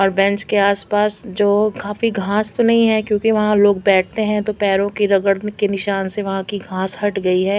और बेंच के आस पास जो काफी घास तो नहीं है क्योंकि वहाँ लोग बैठते है तो पैरों के रगड़ने की निशान की वजह से वहाँ की घास हट गई है।